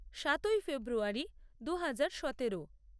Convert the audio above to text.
সাতই ফেব্রুয়ারী দু হাজার সতেরো